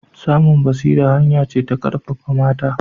Samun basira hanya ce ta ƙarfafa mata